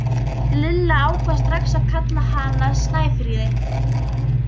Lilla ákvað strax að kalla hana Snæfríði.